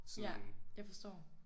Ja. Jeg forstår